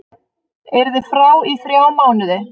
Yrði frá í þrjá mánuði